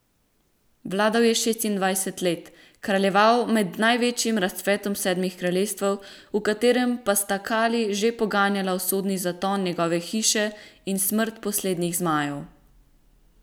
Vladal je šestindvajset let, kraljeval med največjim razcvetom Sedmih kraljestev, v katerih pa sta kali že poganjala usodni zaton njegove hiše in smrt poslednjih zmajev.